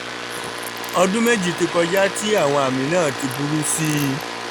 ọdún méjì ti kọjá tí àwọn àmì náà ti burú sí i